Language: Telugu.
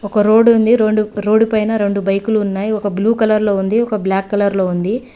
ఒక రోడుంది రోడ్డు రొండు రోడ్డు పైన రెండు బైకులు ఉన్నాయ్ ఒక బ్లూ కలర్ లో ఉంది ఒక బ్లాక్ కలర్ లో ఉంది.